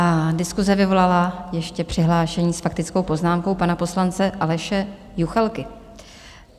A diskuse vyvolala ještě přihlášení s faktickou poznámkou pana poslance Aleše Juchelky.